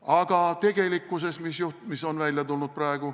Aga tegelikkuses, mis on praegu välja tulnud?